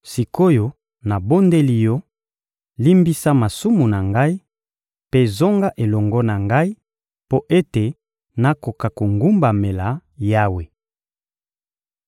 Sik’oyo nabondeli yo, limbisa masumu na ngai; mpe zonga elongo na ngai, mpo ete nakoka kogumbamela Yawe.